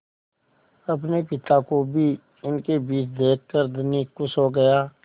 अपने पिता को भी इनके बीच देखकर धनी खुश हो गया